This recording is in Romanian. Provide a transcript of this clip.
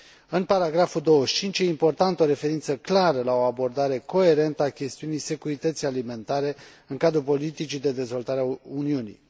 În paragraful 25, e importantă o referință clară la o abordare coerentă a chestiunii securității alimentare în cadrul politicii de dezvoltare a Uniunii.